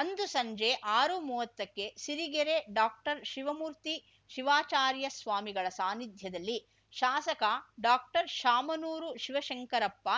ಅಂದು ಸಂಜೆ ಆರುಮುವ್ವತ್ತಕ್ಕೆ ಸಿರಿಗೆರೆ ಡಾಕ್ಟರ್ಶಿವಮೂರ್ತಿ ಶಿವಾಚಾರ್ಯ ಸ್ವಾಮಿಗಳ ಸಾನಿಧ್ಯದಲ್ಲಿ ಶಾಸಕ ಡಾಕ್ಟರ್ಶಾಮನೂರು ಶಿವಶಂಕರಪ್ಪ